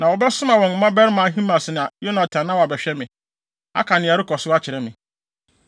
na wɔbɛsoma wɔn mmabarima Ahimaas ne Yonatan na wɔabɛhwehwɛ me, aka nea ɛrekɔ so akyerɛ me.”